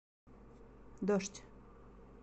дождь